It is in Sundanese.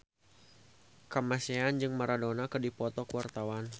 Kamasean jeung Maradona keur dipoto ku wartawan